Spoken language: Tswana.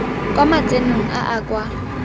kwa matsenong a a kwa